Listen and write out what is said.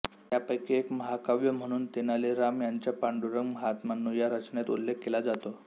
त्यापैकी एक महाकाव्य म्हणून तेनाली राम यांच्या पांडुरंग माहात्म्य्यनुया रचनेचा उल्लेख केला जातो